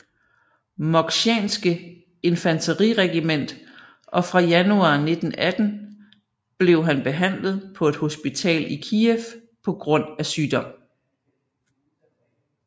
Moksjanske infanteriregiment og fra januar 1918 blev han behandlet på et hospital i Kiev på grund af sygdom